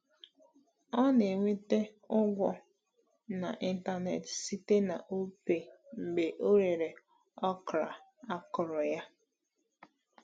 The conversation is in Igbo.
Ọ na-enweta ụgwọ n’ịntanetị site na Opay mgbe ọ rere okra akọrọ ya.